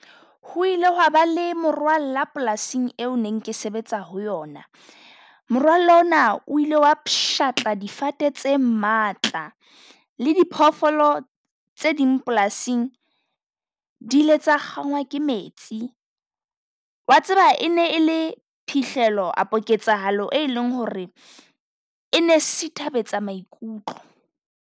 Ho ile hwaba le morwalla polasing eo neng ke sebetsa ho yona. Morwalla ona o ile wa pshatla difate tse matla. Le diphoofolo tse ding polasing di ile tsa kgangwa ke metsi. Wa tseba e ne e le phihlelo apo ketsahalo e leng ho re e ne sithabetsa maikutlo.